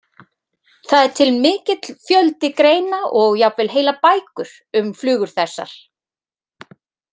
Það er til mikill fjöldi greina og jafnvel heilar bækur um flugur þessar.